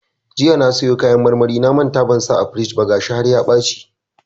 Jiya na siyo kayan marmarin na manta ban sa a firij ba gashi har ya ɓaci.